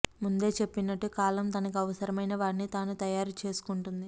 ముందే చెప్పినట్టు కాలం తనకి అవసరమైన వాడ్ని తాను తయారు చేసుకుంటుంది